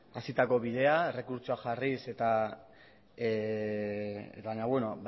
hasitako bidea errekurtsoa jarriz baina beno